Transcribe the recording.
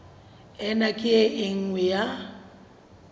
ena ke e nngwe ya